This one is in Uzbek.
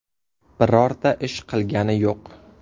Birorta ish qilgani yo‘q.